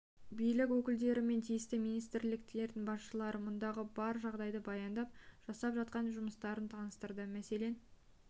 билік өкілдері мен тиісті министрліктердің басшылары мұндағы бар жағдайды баяндап жасап жатқан жұмыстарын таныстырды мәселен